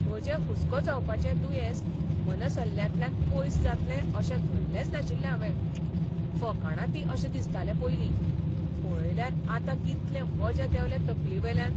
म्हजें हुस्को जावपाचें दुयेंस मनसल्ल्यांतल्यान पयस जातलें अशें धल्लेंच नाशिल्लें हावें. फकाणां तीं अशें दिसतालें पयलीं. पळयल्यार आतां कितलें वजें देंवलें तकलेवेल्यान!